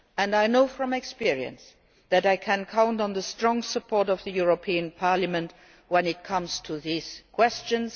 I know from experience that I can count on the strong support of the European Parliament when it comes to these questions.